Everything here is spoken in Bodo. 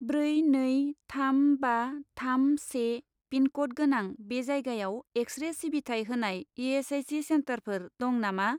ब्रै नै थाम बा थाम से पिनक'ड गोनां बे जायगायाव एक्स रे सिबिथाय होनाय इ.एस.आइ.सि. सेन्टारफोर दं नामा?